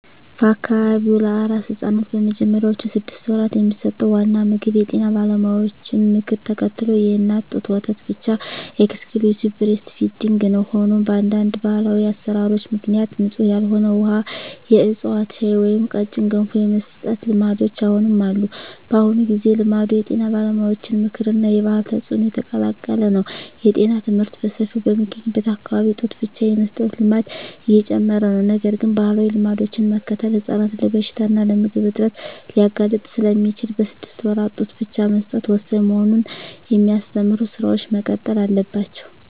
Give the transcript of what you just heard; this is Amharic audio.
በአካባቢው ለአራስ ሕፃናት በመጀመሪያዎቹ ስድስት ወራት የሚሰጠው ዋና ምግብ የጤና ባለሙያዎችን ምክር ተከትሎ የእናት ጡት ወተት ብቻ (Exclusive Breastfeeding) ነው። ሆኖም፣ በአንዳንድ ባህላዊ አሠራሮች ምክንያት ንጹሕ ያልሆነ ውሃ፣ የዕፅዋት ሻይ ወይም ቀጭን ገንፎ የመስጠት ልማዶች አሁንም አሉ። በአሁኑ ጊዜ፣ ልማዱ የጤና ባለሙያዎች ምክር እና የባህል ተጽዕኖ የተቀላቀለ ነው። የጤና ትምህርት በሰፊው በሚገኝበት አካባቢ ጡት ብቻ የመስጠት ልማድ እየጨመረ ነው። ነገር ግን፣ ባህላዊ ልማዶችን መከተል ሕፃናትን ለበሽታ እና ለምግብ እጥረት ሊያጋልጥ ስለሚችል፣ በስድስት ወራት ጡት ብቻ መስጠት ወሳኝ መሆኑን የሚያስተምሩ ሥራዎች መቀጠል አለባቸው።